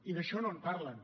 i d’això no en parlen